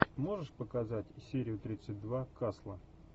можешь показать серию тридцать два касла